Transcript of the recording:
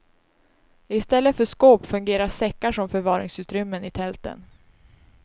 Istället för skåp fungerar säckar som förvaringsutrymmen i tälten.